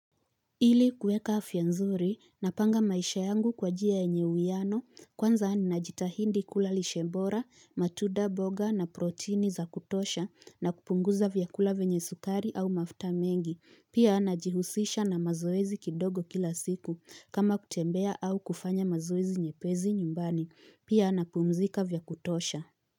Ili kuweka afya nzuri, napanga maisha yangu kwa njia yenye uwiano, kwanza najitahidi kula lishe bora matunda mboga na protini ya kutosha na kupunguza vyakula vyenye sukari au mafuta mingi, pia najihuzisha na mazoezi kidogo kila siku, kama kutembea au kufanya mazoezi nyepezi nyumbani, pia anapumzika vyakutosha.